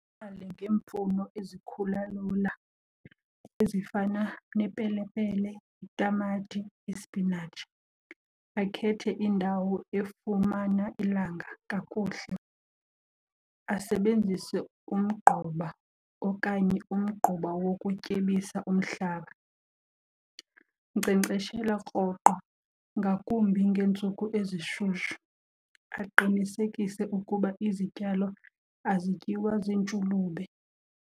ngeemfuno ezikhula lula ezifana nepelepele, itamati, ispinatshi. Akhethe indawo efumana ilanga kakuhle, asebenzise umgquba okanye umgquba wokutyebisa umhlaba. Nkcenkceshela rhoqo ngakumbi ngeentsuku ezishushu, aqinisekise ukuba izityalo azityiwa ziintshulube.